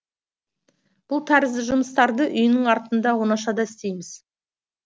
бұл тәрізді жұмыстарды үйінің артында оңашада істейміз